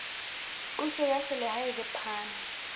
puso ya selehae le phano